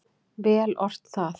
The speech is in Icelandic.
Vel ort það.